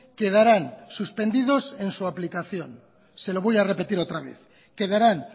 quedarán suspendidos en su aplicación se lo voy a repetir otra vez quedarán